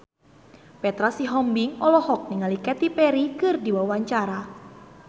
Petra Sihombing olohok ningali Katy Perry keur diwawancara